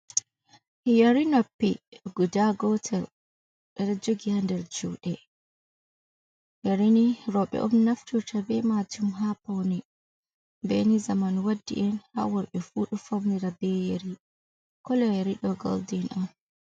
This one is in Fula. Yeri noppi guda gootal ɓeɗo jogii haa nder juuɗe, yeri ni rooɓe on naftorta ɓe maajum haa paune, bee ni zamanu waɗɗi en haa warɓe fuu ɗo faunira bee yeri, kolo yeri ɗo goldin on.